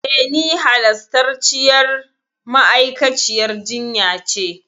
E, ni halastarciyar ma'aikaciyar jinya ce.